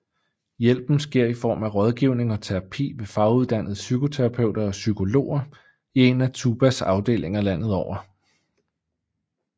Hjælpen sker i form af rådgivning og terapi ved faguddannede psykoterapeuter og psykologer i en af TUBAs afdelinger landet over